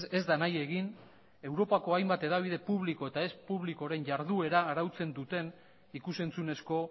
ez da nahi egin europako hainbat hedabide publiko eta ez publikoren jarduera arautzen duten ikus entzunezko